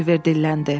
Oliver dilləndi.